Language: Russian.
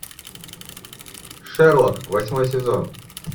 шерлок восьмой сезон